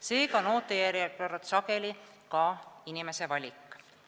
Seega on ootejärjekord sageli ka inimese valik.